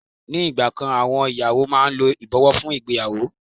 Ni ìgbà kan àwọn ìyàwó máa ń lo ìbọ̀wọ́ fún ìgbéyàwó.